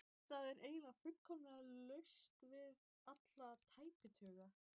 Það var einnig fullkomlega laust við alla tæpitungu.